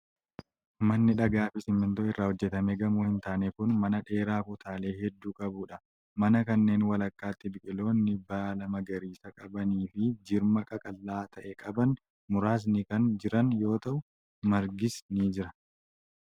Manni dhagaa fi simiintoo irraa hojjatame gamoo hin taane kun, mana dheeraa kutaalee hedduu qabuu dha. Mana kanneen walakkaatti biqiloonni baala magariisaa qaban fi jirma qaqallaa ta'e qaban muraasni kan jiran yoo ta'u, margis ni jira.